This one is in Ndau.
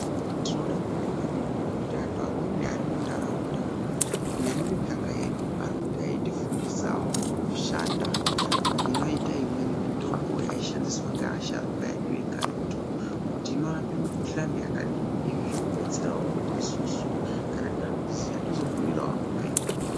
Tinoda kubonga maningi ngekutiantu amwebi ari muntaraunda nemimiganga yedu arikuita eitifundisawo kushanda kunoite imweni mitombo yaishandiswa ngaasharuka edu ekaretu kuti inorape mikhhuhlani yakadini izvi zvinodetserAwo kuti isusu kana takuziya tozobhuirawo amweni.